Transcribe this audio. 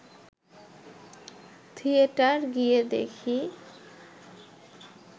theatre গিয়ে দেখি